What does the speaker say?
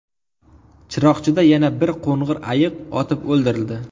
Chiroqchida yana bir qo‘ng‘ir ayiq otib o‘ldirildi.